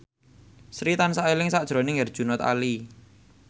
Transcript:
Sri tansah eling sakjroning Herjunot Ali